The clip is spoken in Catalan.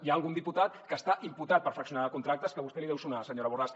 hi ha algun diputat que està imputat per fraccionar contractes que a vostè li deu sonar senyora borràs